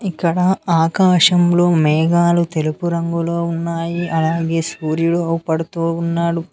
ఇక్కడ ఆకాశంలో మేఘాలు తెలుపు రంగులో ఉన్నాయి అలాగే సూర్యుడు అగుపడుతూ ఉన్నాడు.